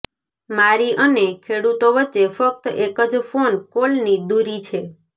મારી અને ખેડૂતો વચ્ચે ફક્ત એક જ ફોન કોલની દૂરી છે